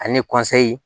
Ani